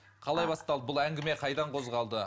қалай басталды бұл әңгіме қайдан қозғалды